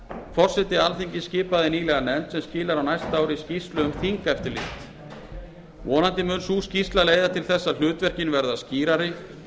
forseti alþingis skipaði nýlega nefnd sem skilar á næsta ári skýrslu um þingeftirlit vonandi mun sú skýrsla leiða til þess að hlutverkin verði skýrari og